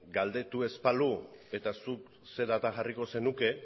galdetu ez balu eta zuk zein data jarriko zenuke